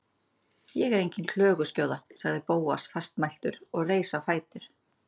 Ég er engin klöguskjóða- sagði Bóas fastmæltur og reis á fætur.